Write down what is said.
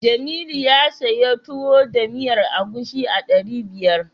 Jamilu ya siyo Tuwo da miyar agushi a ɗari biyar.